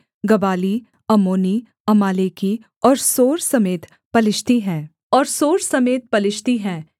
गबाली अम्मोनी अमालेकी और सोर समेत पलिश्ती हैं